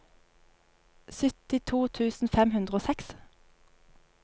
syttito tusen fem hundre og seks